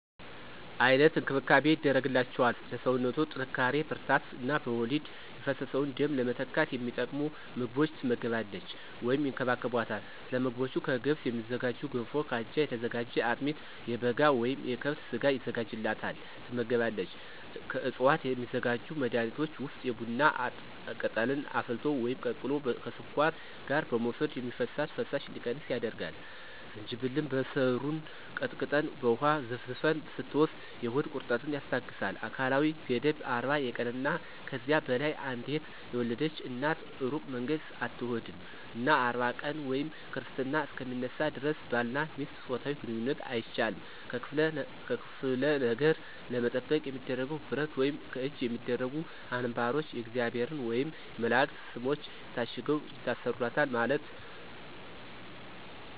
አይነት እንክብካቤ ይደረግላቸዋል ለሰውነቶ ጥንካሪ ብርራታት እነ በወሊድ የፈሰሰውን ደም ለመተካት የሚጠቅሙ ምግቦች ትመገባለች ወይም ይከባከቦታል። ሰለምግቦቹ ከገብስ የሚዝጋጁ ገንፎ ከአጃ የተዘጋጀ አጥሚት የበጋ ወይም የከብት ስጋ የዘጋጅላታል ትመገባለች። ከዕፅዋት የሚዘጋጁ መድኃኒቶች ውስጥ የቡና ቅጠልን አፍልቶ ወይም ቀቅሎ ከስኳር ጋር መውሰድ የሚፈሳት ፈሳሽ እንዲቀንስ ያደርጋል፣ ዝንጅብልን በሰሩን ቀጥቀጠን በውሃ ዘፍዝፈን ስትወስድ የሆድ ቁረጠትን ያስታገሳል። አካላዊ ገደብ 40 የቀንና ከዚያ በላይ አንዴት የወለድች እናት እሩቅ መንገድ አትሆድም እና 40 ቀን ወይም ክርስትና እሰከ ሚነሳ ደረስ ባልና ሚስት ጾታዊ ግንኝነት አይቻልም። ከክፍለ ነገር ለመጠበቅ የሚደረገው ብረት ወይም ከእጅ የሚደረጉ አንባሮች የእግዚአብሔር ወየም የመላእክት ሰሞች ታሽገው ይታሰሩለታል ማለት ነው።